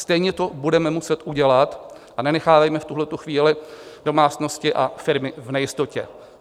Stejně to budeme muset udělat a nenechávejme v tuhletu chvíli domácnosti a firmy v nejistotě.